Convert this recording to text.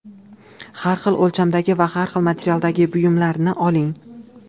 Har xil o‘lchamdagi va har xil materialdagi buyumlarni oling.